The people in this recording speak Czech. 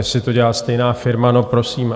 Jestli to dělá stejná firma, no prosím.